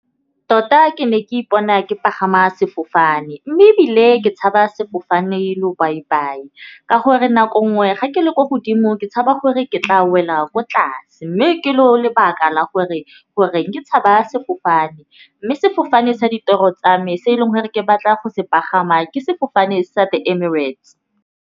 Tota ke ne ke ipona ke pagama sefofane mme ebile ke tshabe sefofane . Ka gore nako nngwe ga ke le ko godimo ke tshaba gore ke tla wela ko tlase mme ke lo lebaka la gore ke tshaba sefofane. Mme sefofane sa ditoro tsa me se e leng gore ke batla go se pagama ke sefofane sa di-Emirates.